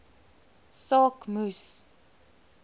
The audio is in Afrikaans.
saak moes